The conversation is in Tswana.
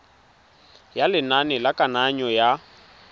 ya lenane la kananyo ya